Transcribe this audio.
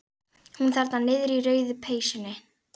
Hún þarna niðri í rauðu peysunni.